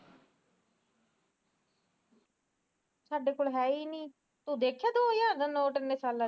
ਸਾਡੇ ਕੋਲ ਹੈ ਈ ਨੀ ਤੂੰ ਦੇਖਿਆ ਦੋ ਹਜਾਰ ਦਾ ਨੋਟ